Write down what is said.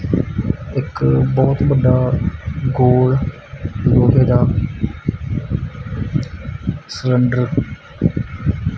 ਇੱਕ ਬਹੁਤ ਵੱਡਾ ਗੋਲ ਗੋਲੇ ਦਾ ਸਲੰਡਰ